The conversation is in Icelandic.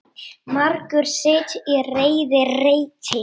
Margur sitt í reiði reytir.